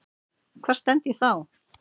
Hvar stend ég þá?